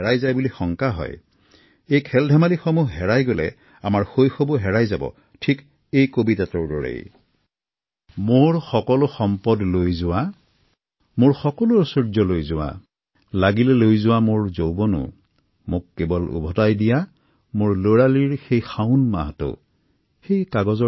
এয়া অত্যন্ত গুৰুত্বপূৰ্ণ যে সমাজৰ প্ৰতিটো স্তৰৰ লোকে পৰম্পৰাগত ক্ৰীড়াক উদগণি যোগাব লাগে